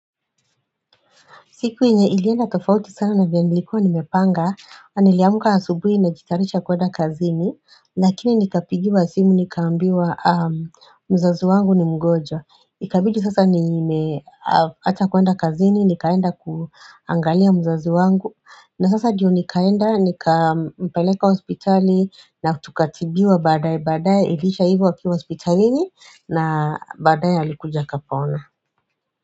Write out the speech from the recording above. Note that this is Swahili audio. Siku yenye ilienda tofauti sana na vyenye nilikuwa nimepanga. Niliamka asubui najitayarisha kwenda kazini. Lakini nikapigiwa simu nikaambiwa mzazi wangu ni mgonjwa Ikabidi sasa nimeacha kwenda kazini, nikaenda kuangalia mzazi wangu. Na sasa ndiyo nikaenda, nikampeleka hospitali na tukatibiwa baadaye vaadaye baadaye iliisha ivo akiwa hospitalini na baadaye alikuja kapona.